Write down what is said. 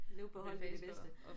Nu på hold med de bedste